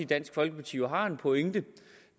dansk folkeparti jo har en pointe